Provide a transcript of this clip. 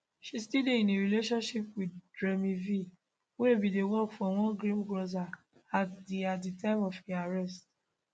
she still dey in a relationship with jrme v wey bin dey work for one greengrocer at di at di time of im arrest